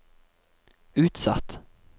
utsatt